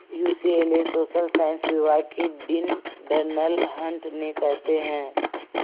UCLA social science विभाग के dean Darnell Hunt ने कहते हैं